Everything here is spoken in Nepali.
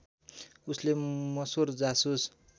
उनले मसुर जासुस